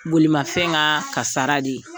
Bolimafɛn ŋaa kasara de ye.